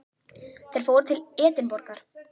Þeir fóru til Edinborgar.